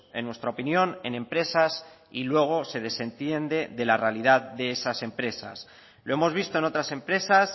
en nuestra opinión en empresas y luego se desentiende de la realidad de esas empresas lo hemos visto en otras empresas